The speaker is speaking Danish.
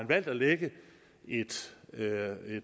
valgt at lægge et